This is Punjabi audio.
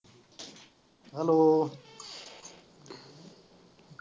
Hello